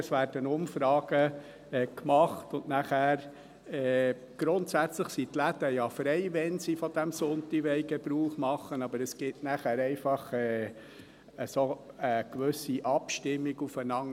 Es werden Umfragen gemacht, und danach sind die Läden ja grundsätzlich frei, wann sie von diesem Sonntag Gebrauch machen wollen, aber es gibt nachher einfach eine gewisse Abstimmung aufeinander.